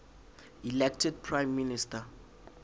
elected prime minister